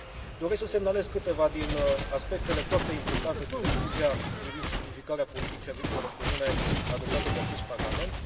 Doresc să semnalez câteva din aspectele foarte importante din Rezoluția privind simplificarea politicii agricole comune, adoptată de acest Parlament.